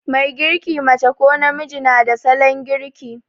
Mai girki, mace ko namiji, na da salon girki.